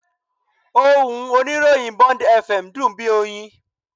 Ohùn oníròyìn Bond FM dùn bí oyin